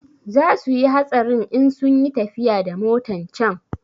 Za suyi hatsarin in sunyi tafiya da motan can